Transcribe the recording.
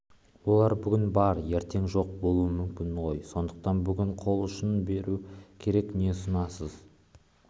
олар бүгін бар ертең жоқ болуы мүмкін ғой сондықтан бүгін қол ұшын беру керек не ұсынасыз